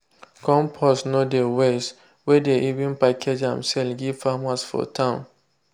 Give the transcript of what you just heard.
compost no dey waste- we dey even package am sell give farmers for town.